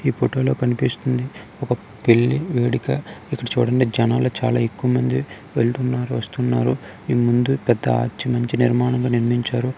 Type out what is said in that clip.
ఈ ఫోటో లో కనిపిస్తుంది ఒక బిల్డింగ్ వేడుక. ఇక చూడండి చాలా ఎక్కువమంది వెళ్తున్నారు వస్తున్నారు. ఈ ముందు పెద్ద ఆర్చ్ నిర్మాణం నిర్మించి ఉన్నారు.